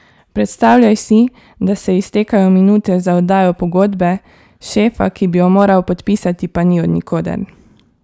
Predstavljaj si, da se iztekajo minute za oddajo pogodbe, šefa, ki bi jo moral podpisati, pa ni od nikoder.